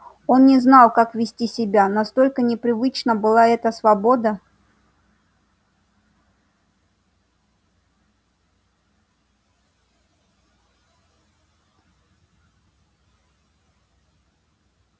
он не знал как вести себя настолько непривычна была эта свобода